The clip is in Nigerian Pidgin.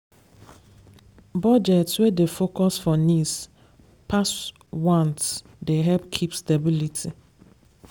budgets wey dey focus for needs pass wants dey help keep stability.